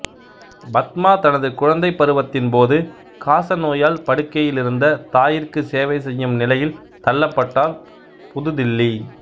பத்மா தனது குழந்தைப் பருவத்தின்போது காசநோயால் படுக்கையிலிருந்த தாயிற்கு சேவை செய்யும் நிலையில் தள்ளப்பட்டார் புது தில்லி